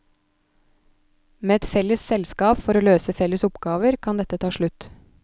Med et felles selskap for å løse felles oppgaver, kan dette ta slutt.